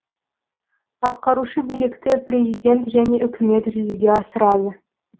атқарушы билікті президент және үкімет жүзеге асырады